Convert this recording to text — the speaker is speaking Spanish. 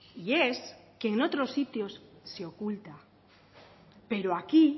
y es que en otros sitios se oculta pero aquí